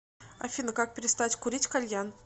афина как перестать курить кальян